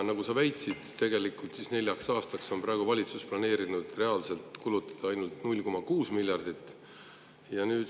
Nagu sa väitsid, tegelikult on valitsus planeerinud nelja aasta peale reaalselt kulutada ainult 0,6 miljardit.